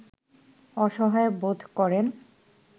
অসহায় বোধ করেন